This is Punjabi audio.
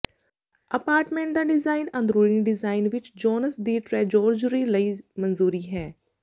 ਅਪਾਰਟਮੈਂਟ ਦਾ ਡਿਜ਼ਾਇਨ ਅੰਦਰੂਨੀ ਡਿਜ਼ਾਇਨ ਵਿਚ ਜੋਨਸ ਦੀ ਟ੍ਰੈਜੋਰਜਰੀ ਲਈ ਮਨਜ਼ੂਰੀ ਹੈ